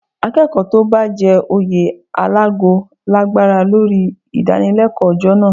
Akẹ́kọ̀ọ́ tó bá jẹ oyè alágo lágbára lórí ìdánilẹ́kọ̀ọ́ ọjọ́ náà